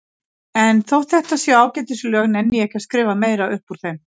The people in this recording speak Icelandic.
En þótt þetta séu ágætis lög nenni ég ekki að skrifa meira upp úr þeim.